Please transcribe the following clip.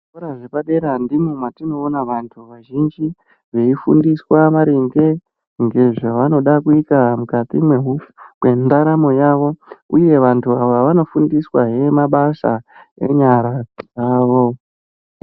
Zvikora zvepadera ndimwo matinoona vanthu vazhinji veifundiswa maringe ngezvavanoda kuita mukati mwendaramo yavo. Uye vantu ava vanofundiswahe mabasa enyara dzavo.